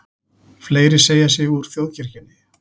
Fleiri segja sig úr þjóðkirkjunni